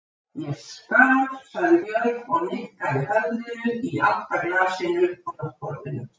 Ég skal, sagði Björg og nikkaði höfðinu í átt að glasinu á náttborðinu.